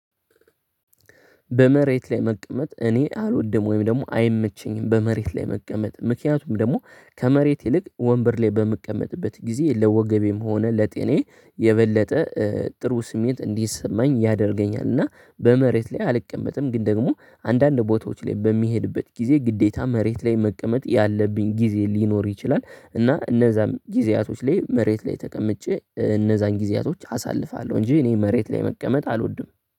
በመሬት ላይ መቀመጥ እኔ አልወድም ወይም ደግሞ አይመቸኝም በመሬት ላይ መቀመጥ ምክንያቱም ደግሞ ከመሬት ይልቅ ወንበር ላይ በምቀመጥበት ጊዜ ለወገቤም ሆነ ለጤናዬ የበለጠ ጥሩ ስሜት እንዲሰማኝ ያደርገኛል። እና በመሬት ላይ አልቀመጥም ግን ደግሞ አንዳንድ ቦታዎች ላይ በሚሄድበት ጊዜ ግዴታ መሬት ላይ መቀመጥ ያለብኝ ጊዜ ሊኖር ይችላል። እና እነዛን ጊዜያቶች ላይ መሬት ላይ ተቀምጬ እነዛን ጊዜያቶች አሳልፋለሁ እንጂ እኔ መሬት ላይ መቀመጥ አልወድም።